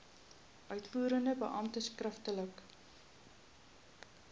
uitvoerende beampte skriftelik